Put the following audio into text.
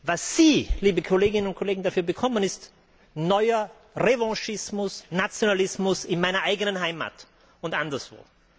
Was Sie, liebe Kolleginnen und Kollegen dafür bekommen, ist neuer Revanchismus und Nationalismus in meiner Heimat und anderswo.